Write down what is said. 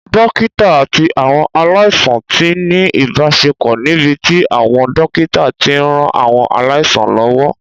Dókítà àti àwọn aláìsàn ti ní ìbáṣepọ̀ níbi tí àwọn dókítà ti ń ran àwọn aláìsàn lọ́wọ́